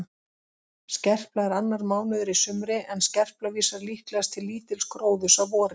Skerpla er annar mánuður í sumri en skerpla vísar líklegast til lítils gróðurs að vori.